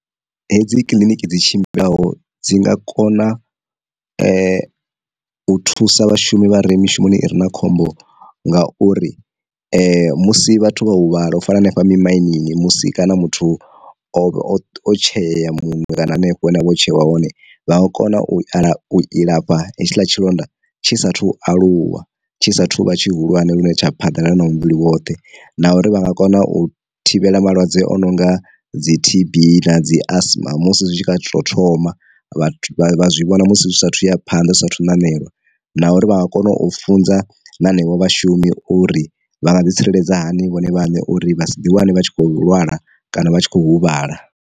Hedzi kiliniki dzi tshimbilaho dzi nga kona u thusa vhashumi vha re mishumoni ire na khombo ngauri musi vhathu vha huvhala u fana hanefha mi marinini musi kana muthu o tsheyea muṅwe kana hanefho une vho tshewa hone, vha nga kona u aḽa u ilafha hetshiḽa tshilonda tshi sathu aluwa tshi sathu vha tshi hulwane lune tsha phanḓa na na na muvhili woṱhe na uri vha nga kona u thivhela malwadze o no nga dzi T_b na dzi asma musi zwi tshi kha tsho thoma vha zwi vhona musi tshi sathu ya phanḓa zwi saathu nanela, na uri vha nga kona u funza hanevho vhashumi uri vha nga ḓi tsireledza hani vhone vhaṋe uri vha si ḓi wane vha tshi kho lwala kana vha tshi kho huvhala.